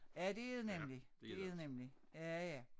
Ja det er det nemlig det det nemlig ja ja